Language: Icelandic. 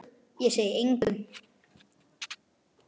Ég segi engum.